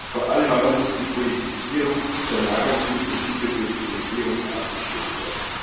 Vor allem aber muss die Politisierung der Nahrungsmittelhilfe durch die Regierung abgestellt werden.